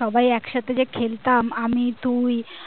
সবাই একসাথে যে খেলতাম আমি তুই